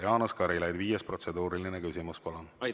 Jaanus Karilaid, viies protseduuriline küsimus, palun!